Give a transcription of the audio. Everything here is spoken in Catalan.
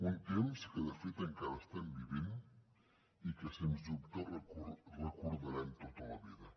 un temps que de fet encara estem vivint i que sens dubte recordarem tota la vida